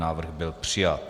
Návrh byl přijat.